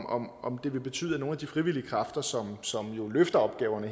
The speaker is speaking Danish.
om om det vil betyde at nogle af de frivillige kræfter som som jo løfter opgaverne